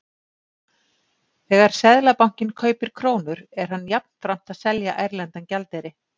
Þegar Seðlabankinn kaupir krónur er hann jafnframt að selja erlendan gjaldeyri.